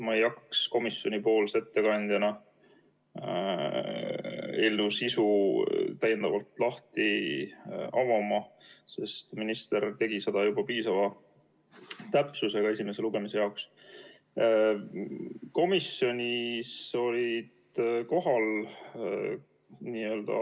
Ma ei hakkaks komisjonipoolse ettekandjana eelnõu sisu täiendavalt avama, sest minister tegi seda juba esimese lugemise jaoks piisava täpsusega.